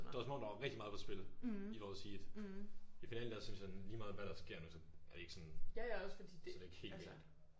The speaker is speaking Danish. Det var som om der var rigtig meget på spil i vores heat. I finalen der synes jeg sådan lige meget hvad der sker nu så det er det ikke sådan så det ikke helt galt